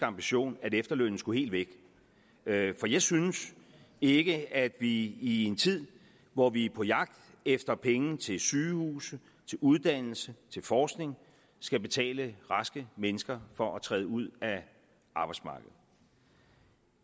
ambition at efterlønnen skulle helt væk for jeg synes ikke at vi i en tid hvor vi er på jagt efter penge til sygehuse til uddannelse til forskning skal betale raske mennesker for at træde ud af arbejdsmarkedet